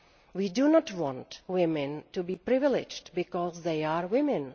We do not want women to be privileged because they are women.